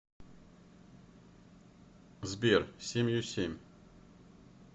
сбер семью семь